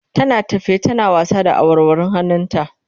tana tafe tana wasa da awarwarun hannun ta